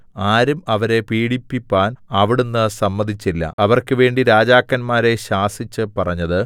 ആരും അവരെ പീഡിപ്പിപ്പാൻ അവിടുന്ന് സമ്മതിച്ചില്ല അവർക്കുവേണ്ടി രാജാക്കന്മാരെ ശാസിച്ച് പറഞ്ഞത്